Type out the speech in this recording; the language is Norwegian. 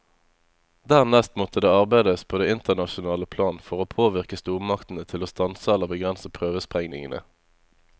Dernest måtte det arbeides på det internasjonale plan for å påvirke stormaktene til å stanse eller begrense prøvesprengningene.